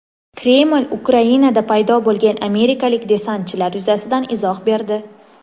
Kreml Ukrainada paydo bo‘lgan amerikalik desantchilar yuzasidan izoh berdi.